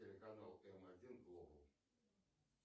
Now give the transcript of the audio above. телеканал м один глобал